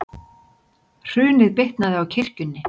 Hrunið bitnaði á kirkjunni